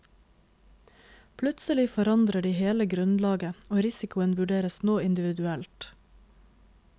Plutselig forandrer de hele grunnlaget, og risikoen vurderes nå individuelt.